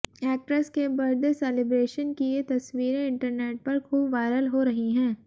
actress के birthday celebration की ये तस्वीरें इंटरनेट पर खूब वायरल हो रही हैं